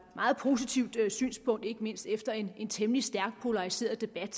meget positivt synspunkt ikke mindst efter en temmelig stærkt polariseret debat